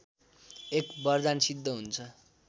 एक वरदान सिद्ध हुन्छ